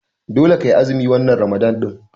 Dole kai azumi wannan Ramalan ɗin.